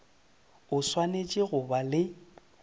o swanetše go ba le